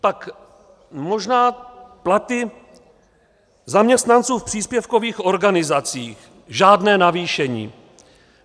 Tak možná platy zaměstnanců v příspěvkových organizacích, žádné navýšení.